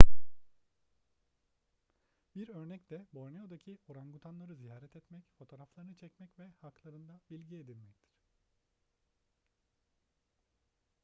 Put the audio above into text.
bir örnek de borneo'daki orangutanları ziyaret etmek fotoğraflarını çekmek ve haklarında bilgi edinmektir